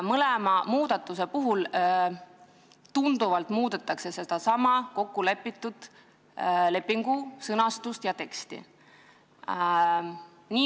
Mõlema ettepanekuga muudetakse kokkulepitud lepingu teksti sõnastust tunduvalt.